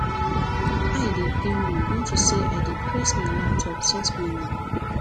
my eye dey pain me unto say i dey press my laptop since morning